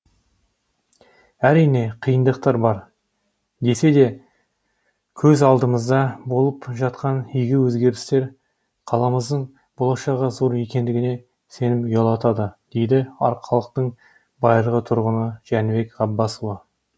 әрине қиындықтар бар десек те көз алдымызда болып жатқан игі өзгерістер қаламыздың болашағы зор екендігіне сенім ұялатады дейді арқалықтың байырғы тұрғыны жәнібек ғапбасұлы